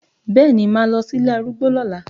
Bẹẹ ni, máa lọ sí ilé arúgbó lọ́la